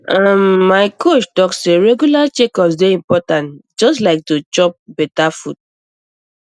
uhm um my coach talk say regular checkups dey important just like to um chop um better food